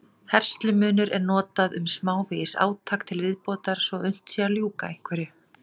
Vísindamönnum hefur tekist, með skipulögðum aðgerðum og stofnun verndarsvæða, að bjarga þeim úr mestri hættu.